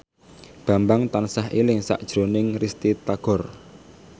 Bambang tansah eling sakjroning Risty Tagor